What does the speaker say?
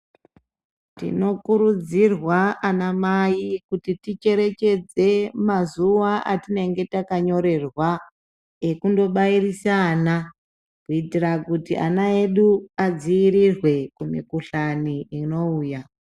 Tinokurudzirwa ana mai kuti ticherechedze mazuwa atinenge takanyorerwa ekundobairisa ana kuti ana edu adziirirwe kumikuhlani inouya.